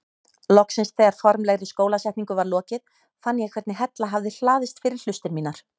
Loksins þegar formlegri skólasetningu var lokið fann ég hvernig hella hafði hlaðist fyrir hlustir mínar.